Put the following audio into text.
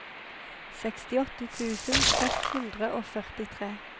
sekstiåtte tusen seks hundre og førtitre